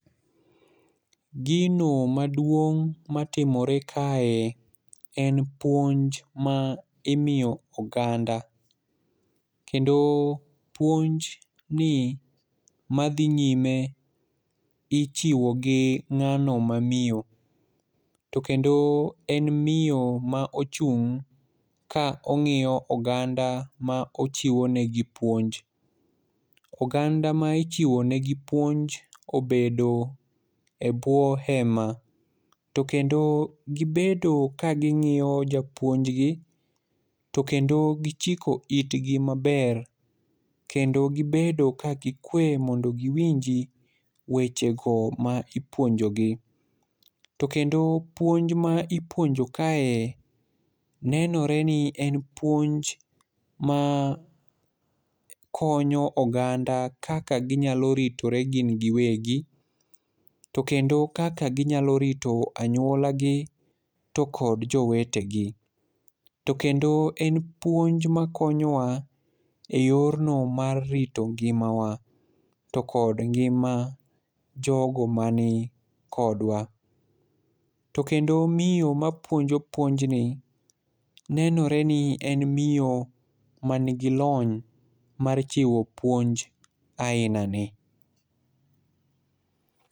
Gino maduong' matimore kae en puonj ma imiyo oganda. Kendo puonj ni madhi nyime ichiwo gi ng'ano ma miyo. To kendo en miyo ma ochung', ka ong'iyo oganda ma ochiwo negi puonj. Oganda ma ichiwo negi puonj, obedo e bwo hema. To kendo gibedo ka ging'iyo japuonjgi, to kendo gichiko itgi maber. To kendo gibedo ka gikwe mondo giwinji weche go ma ipuonjogi. To kendo puonj ma ipuonjo kae nenore ni en puonj ma konyo oganda kaka ginyalo ritore gin giwegi. To kendo kaka ginyalo rito anyuola gi to kod jowete gi. To kendo en puonj makonyowa e yor no mar rito ngimawa, to kod ngima jogo mani kodwa. To kendo miyo mapuonjo puonj ni , nenore ni en miyo manigi lony mar chiwo puonj aina ni.